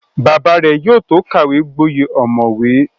Bàbá rẹ̀ yóò tó kàwé gboyè ọ̀mọ̀wé